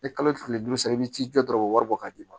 Ni kalo tile duuru sera i bɛ ji jɔ dɔrɔn o bɔr'a d'i ma